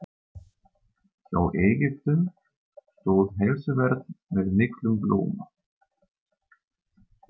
Hjá Egyptum stóð heilsuvernd með miklum blóma.